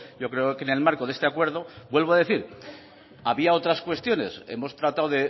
yo creo que en el marco de este acuerdo vuelvo a decir había otras cuestiones hemos tratado